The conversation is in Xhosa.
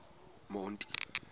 monti